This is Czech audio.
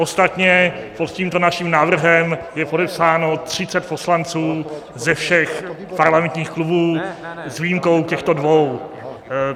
Ostatně pod tímto naším návrhem je podepsáno 30 poslanců ze všech parlamentních klubů s výjimkou těchto dvou.